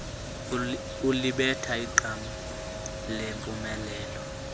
ulibetha iqam lempumelelo